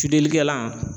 Fidelikɛla